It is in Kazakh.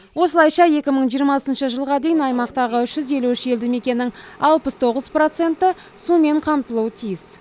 осылайша екі мың жиырмасыншы жылға дейін аймақтағы үш жүз елу үш елді мекеннің алпыс тоғыз проценті сумен қамтылуы тиіс